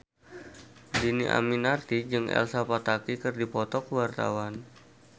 Dhini Aminarti jeung Elsa Pataky keur dipoto ku wartawan